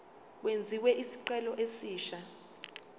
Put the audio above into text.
kwenziwe isicelo esisha